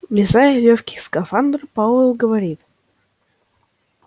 влезая в лёгкий скафандр пауэлл говорил